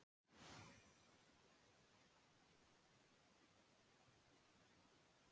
Er til dæmis sú orsök eða vera sem heimspekingarnir komast að ópersónuleg eða persónuleg?